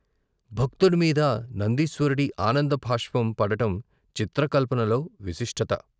భక్తుడిమీద నందీశ్వ రుడి ఆనంద బాష్పం పడడం చిత్ర కల్పనలో విశిష్టత..